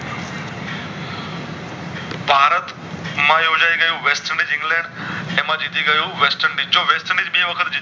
ભારત માં યોજાય ગયુ વેસ્ટેન્ડિશ ઇંગ્લેન્ડ એમાં જીતી ગયું વેસ્ટેન્ડિશ જો વેસ્ટેન્ડિશ બે વખત